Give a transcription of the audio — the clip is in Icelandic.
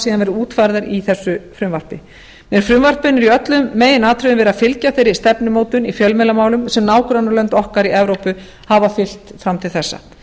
síðan verið útfærðar í þessu frumvarpi með frumvarpinu er í öllum meginatriðum verið að fylgja þeirri stefnumótun í fjölmiðlamálum sem nágrannalönd okkar í evrópu hafa fylgt fram til þessa